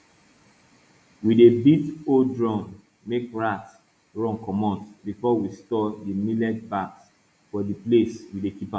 we dey beat old drum make rats run comot before we store di millet bags for di place we dey keep am